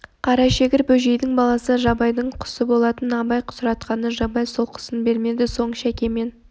қарашегір бөжейдің баласы жабайдың құсы болатын абай сұратқанда жабай сол құсын бермеді содан соң шәке мен